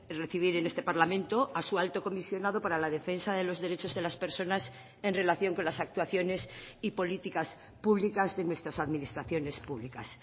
recibir en este parlamento a su alto comisionado para la defensa de los derechos de las personas en relación con las actuaciones y políticas públicas de nuestras administraciones públicas